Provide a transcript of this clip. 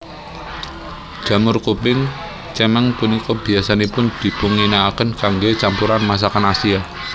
Jamur kuping cemeng punika biyasanipun dipunginakaken kanggé campuran masakan Asia